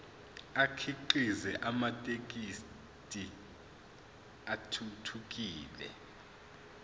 akhiqize amathekisthi athuthukile